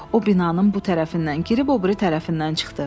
O binanın bu tərəfindən girib o biri tərəfindən çıxdı.